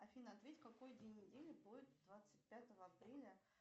афина ответь какой день недели будет двадцать пятого апреля